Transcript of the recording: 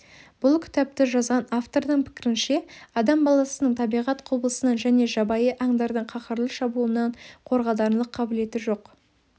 бұл кітапты жазған автордың пікірінше адам баласының табиғат құбылысынан және жабайы аңдардың қаһарлы шабуылынан қорғанарлық қабілеті жоқ